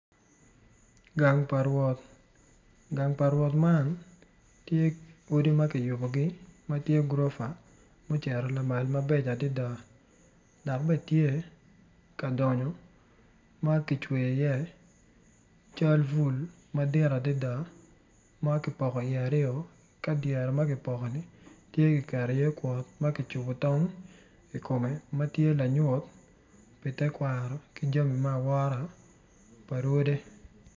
Gang pa rwot gang pa rwot man tye odi ma kiyubugi ma tye gurofa mucito lama mabeco adida dok bene tye ka donyo ma kicweyi iye cal bul madit adida ma kipoko iye aryo ka dyere ma kipoko-ni tye kiketi iye kwot ma ki tong i kome ma tye lanyut pi tekwaro ki jami me awora pa rwodi